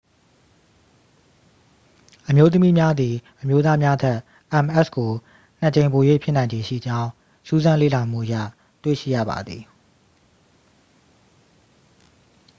အမျိုးသမီးများသည် အမျိုးသားများထက် ms ကို နှစ် ကြိမ်ပို၍ဖြစ်နိုင်ခြေရှိကြောင်း စူးစမ်းလေ့လာမှုအရ တွေ့ရှိရပါသည်